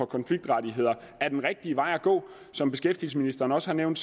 konfliktrettigheder er den rigtige vej at gå som beskæftigelsesministeren også har nævnt